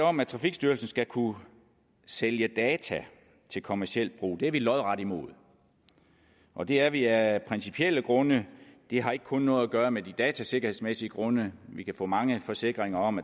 om at trafikstyrelsen skal kunne sælge data til kommerciel brug er vi lodret imod og det er vi af principielle grunde det har ikke kun noget at gøre med de datasikkerhedsmæssige grunde vi kan få mange forsikringer om